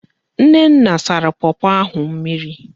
Nnenna sara pọpọ ahụ mmiri.